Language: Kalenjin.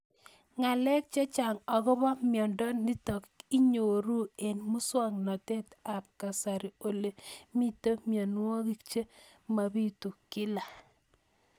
Ng'alek chechang' akopo miondo nitok inyoru eng' muswog'natet ab kasari ole mito mianwek che mapitu kila